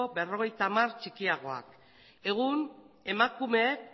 berrogeita hamar txikiagoak egun emakumeek